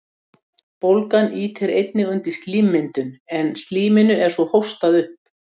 Bólgan ýtir einnig undir slímmyndun, en slíminu er svo hóstað upp.